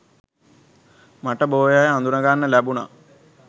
මට බොහෝ අය අඳුනගන්න ලැබුණා.